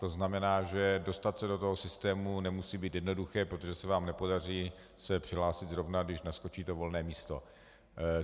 To znamená, že dostat se do toho systému nemusí být jednoduché, protože se vám nepodaří se přihlásit zrovna, když naskočí to volné místo.